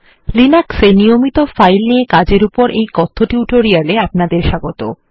Linux এ নিয়মিত file নিয়ে কাজের উপর এই কথ্য টিউটোরিয়াল এ অপনাদের স্বাগত